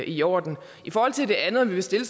i orden i forhold til det andet om vi vil stille